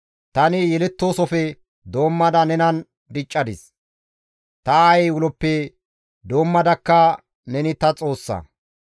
Tani yelettoosofe doommada nenan diccadis; ta aayey uloppe doommadakka neni ta Xoossa.